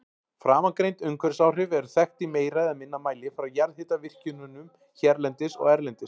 Framangreind umhverfisáhrif eru þekkt í meira eða minna mæli frá jarðhitavirkjunum hérlendis og erlendis.